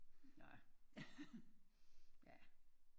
Nårh ja ja